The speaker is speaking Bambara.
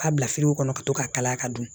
K'a bila kɔnɔ ka to ka kalaya ka dun